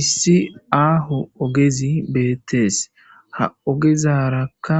issi aaho ogezi beettees ha ogezarakka